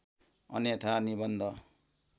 अन्यथा निबन्ध